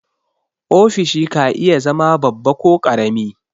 Ofishi ka iya zama babba ko ƙarami.